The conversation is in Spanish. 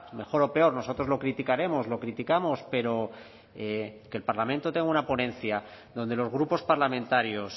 mejor o peor nosotros lo criticaremos lo criticamos pero que el parlamento tenga una ponencia donde los grupos parlamentarios